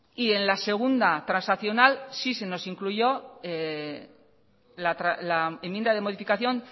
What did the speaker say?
y en la segunda transaccional sí se nos incluyó la enmienda de modificación